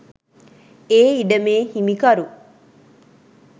ඒ ඉඩමේ හිමිකරු